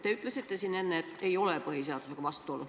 Te ütlesite siin enne, et ei ole põhiseadusega vastuolu.